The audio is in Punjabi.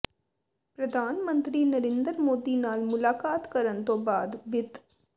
ਪ੍ਰਧਾਨ ਮੰਤਰੀ ਨਰਿੰਦਰ ਮੋਦੀ ਨਾਲ ਮੁਲਾਕਾਤ ਕਰਨ ਤੋਂ ਬਾਅਦ ਵਿੱਤ